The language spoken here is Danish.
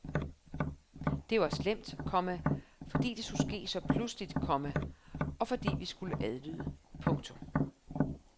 Det var slemt, komma fordi det skulle ske så pludseligt, komma og fordi vi skulle adlyde. punktum